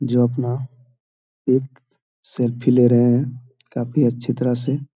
जो अपना एक सेल्फी ले रहे है काफी अच्छे तरह से ।